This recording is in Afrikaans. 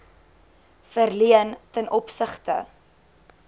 verleen ten opsigte